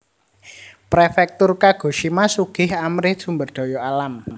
Prefektur Kagoshima sugih amrih sumber daya alam